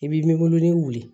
I b'i nimolonin wuli